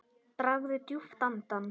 Dragðu djúpt andann!